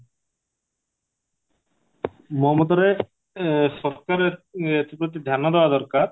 ମୋ ମତରେ ସରକାର ଏ ଏଥିପ୍ରତି ଧ୍ୟାନ ଦବା ଦରକାର